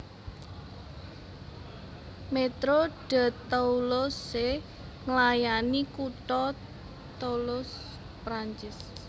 Métro de Toulouse nglayani kutha Toulouse Perancis